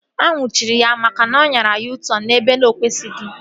A nnwuchiri ya maka na ọ anyara U-tọn ebe ọ na-ekwesịghị